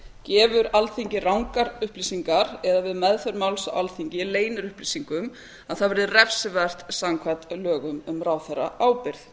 gefur alþingi rangar upplýsingar eða við meðferð máls á alþingi leynir upplýsingum það verði refsivert samkvæmt lögum um ráðherraábyrgð